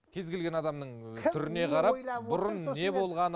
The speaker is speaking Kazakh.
кез келген адамның түріне қарап бұрын не болғаны